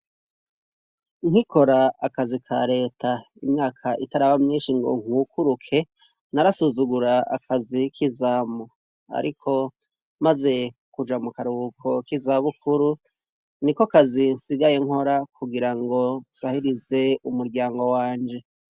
Nkikora akazi ka leta imyaka itari aba myinshi ngo nkukuruke narasuzugura akazi k'izamu, ariko, maze kuja mu karubuko kizabukuru ni ko kazinsigaye nkora kugira ngo zahirize umuryango wanje.